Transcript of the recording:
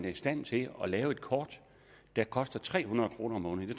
i stand til at lave et kort der koster tre hundrede kroner om måneden